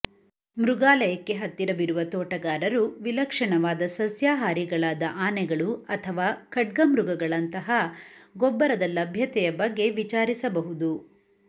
ಮೃಗಾಲಯಕ್ಕೆ ಹತ್ತಿರವಿರುವ ತೋಟಗಾರರು ವಿಲಕ್ಷಣವಾದ ಸಸ್ಯಾಹಾರಿಗಳಾದ ಆನೆಗಳು ಅಥವಾ ಖಡ್ಗಮೃಗಗಳಂತಹ ಗೊಬ್ಬರದ ಲಭ್ಯತೆಯ ಬಗ್ಗೆ ವಿಚಾರಿಸಬಹುದು